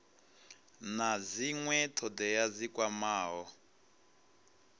na dzinwe thodea dzi kwamaho